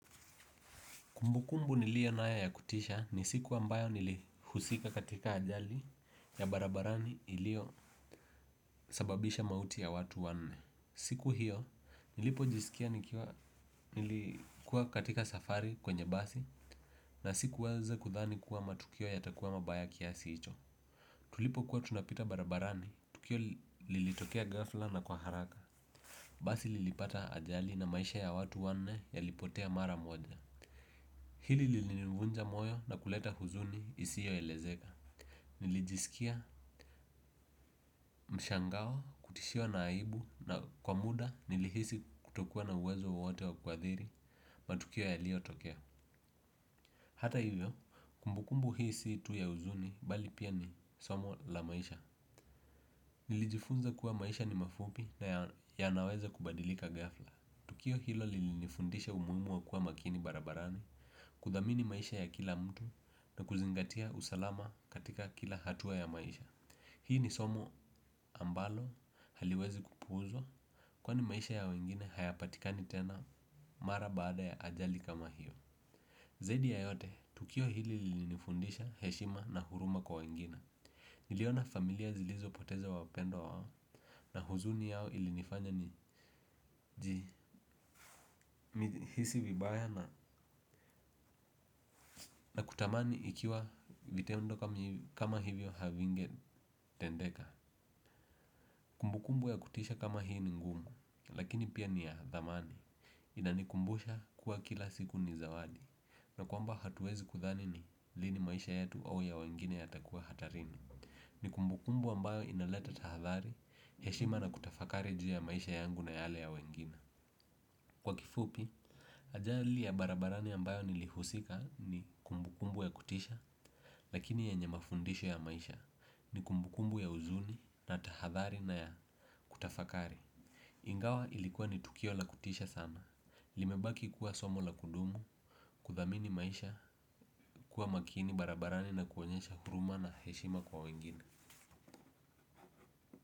Kumbukumbu niliyo naya ya kutisha ni siku ambayo nilihusika katika ajali ya barabarani ilio sababisha mauti ya watu wanne. Siku hiyo nilipo jisikia nilikuwa katika safari kwenye basi na sikuweze kudhani kuwa matukio ya takuwa mabaya kiasi icho. Tulipo kuwa tunapita barabarani, tukio lilitokea gafla na kwa haraka. Basi lilipata ajali na maisha ya watu wanne yalipotea mara moja. Hili lilinivunja moyo na kuleta huzuni isiyo elezeka. Nili jisikia mshangao, kutishiwa na aibu na kwa muda nili hisi kutokua na uwezo wowote wa kwathiri matukio yalio tokea. Hata hivyo, kumbukumbu hi si tu ya huzuni bali pia ni somo la maisha. Nili jifunza kuwa maisha ni mafupi na ya naweza kubadilika gafla. Tukio hilo lilinifundisha umuimu wa kua makini barabarani, kudhamini maisha ya kila mtu na kuzingatia usalama katika kila hatua ya maisha. Hii ni somo ambalo haliwezi kupuuzwa kwani maisha ya wengine hayapatikani tena mara baada ya ajali kama hiyo zaidi ya yote tukio hili lilinifundisha heshima na huruma kwa wengine niliona familia zilizopoteza wapendwa wao na huzuni yao ilinifanya ni jihisi vibaya na na kutamani ikiwa vitendo kama hivyo havinge tendeka. Kumbu kumbu ya kutisha kama hii ni ngumu, lakini pia ni ya dhamani. Inanikumbusha kuwa kila siku ni zawadi. Na kwamba hatuwezi kudhani ni lini maisha yetu au ya wengine ya takua hatarini. Nikumbu kumbu ambayo inaleta tahadhari, heshima na kutafakari juu ya maisha yangu na yale ya wengine. Kwa kifupi, ajali ya barabarani ambayo nilihusika ni kumbukumbu ya kutisha, lakini yenye mafundisho ya maisha ni kumbukumbu ya uzuni na tahathari na ya kutafakari. Ingawa ilikuwa ni tukio la kutisha sana. Limebaki kuwa somo la kudumu, kudhamini maisha, kuwa makini barabarani na kuonyesha huruma na heshima kwa wengine.